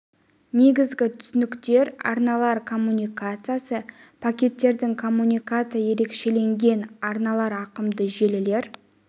негізгі түсініктер арналар коммутациясы пакеттердің коммутациясы ерекшеленген арналар ауқымды желілер